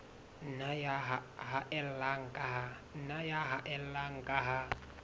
nna ya haella ka ha